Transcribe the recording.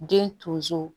Den tonso